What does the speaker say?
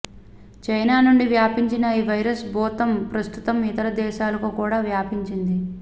China నుండి వ్యాపించిన ఈ వైరస్ భూతం ప్రస్తుతం ఇతర దేశాలకు కూడా వ్యాపించింది